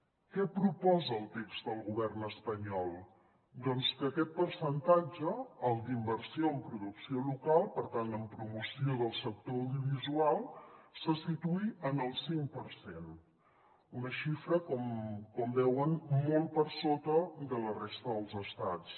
què proposa el text del govern espanyol doncs que aquest percentatge el d’in·versió en producció local per tant en promoció del sector audiovisual se situï en el cinc per cent una xifra com veuen molt per sota de la resta dels estats